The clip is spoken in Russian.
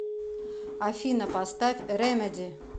афина поставь ремеди